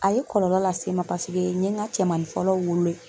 A ye kɔlɔlɔ lase n ma paseke n ye ŋa cɛmanin fɔlɔ wolo ye